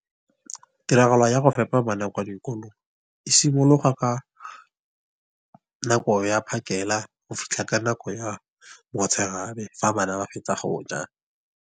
Tiragalo ya go fepa bana kwa dikolong, e simologa ka nako ya phakela go fitlha ka nako ya motshegare fa bana ba fetsa go ja.